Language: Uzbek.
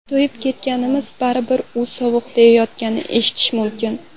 To‘yib ketganmiz, baribir uy sovuq”, deyayotganini eshitish mumkin.